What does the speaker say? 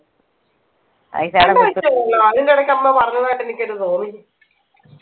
അതിന്റിടക്ക് നമ്മ പറഞ്ഞതായിട്ട് എനിക്കെന്നെ തോന്നി